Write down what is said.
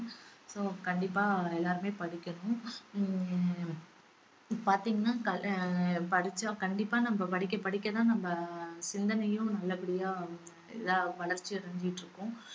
so கண்டிப்பா எல்லாருமே படிக்கணும் ஹம் பாத்தீங்கன்னா க~ அஹ் படிச்சா கண்டிப்பா நம்ம படிக்க படிக்க தான் நம்ம சிந்தனையும் நல்லபடியா எல்லா வளர்ச்சி அடைஞ்சிட்டிருக்கும்